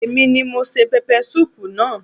Èmi ni mo se pẹpẹsúù naa